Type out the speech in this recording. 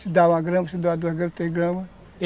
Se dá uma grama, se dá duas gramas, três gramas.